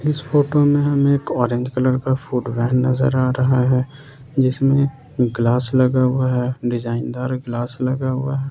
इस फोटो में हमें एक ऑरेंज कलर का फूड वैन नजर आ रहा है जिसमें ग्लास लगा हुआ है डिजाइन दार ग्लास लगा हुआ है।